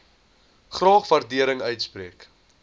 graag waardering uitspreek